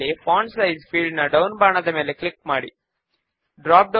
కాబట్టి form design ను save చేసి టెస్ట్ చేద్దాము